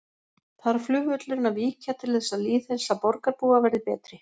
Þarf flugvöllurinn að víkja til þess að lýðheilsa borgarbúa verði betri?